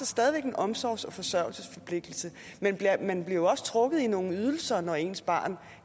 stadig væk en omsorgs og forsørgelsesforpligtelse man bliver også trukket i nogle ydelser når ens barn